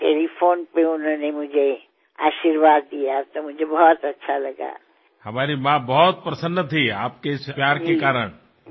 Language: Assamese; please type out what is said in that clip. ঘৰত আনন্দময় পৰিবেশৰ সৃষ্টি হব কিন্তু আপোনালোকে দেখিছে যে আমাৰ ওচৰেপাজৰে বহু এনে লোক আছে যি এই উৎসৱৰ আনন্দৰ পৰা বঞ্চিত হবলগীয়া হয় আৰু ইয়াকেই কোৱা হয় চাকিৰ তলৰ অন্ধকাৰ